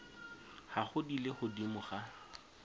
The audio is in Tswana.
gago di le godimo ga